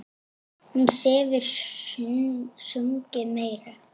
Hún hefur sungið meira.